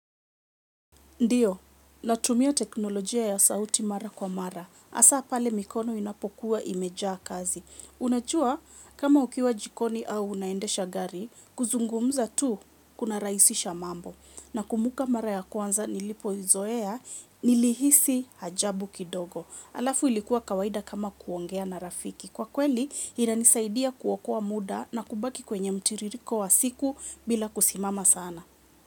Ndiyo, natumia teknolojia ya sauti mara kwa mara. Hasa pale mikono inapokuwa imejaa kazi. Unajua kama ukiwa jikoni au unaendesha gari, kuzungumza tu kuna rahisisha mambo. Nakumbuka mara ya kwanza nilipoizoea, nilihisi hajabu kidogo. Alafu ilikuwa kawaida kama kuongea na rafiki. Kwa kweli, inanisaidia kuokoa muda na kubaki kwenye mtiririko wa siku bila kusimama sana.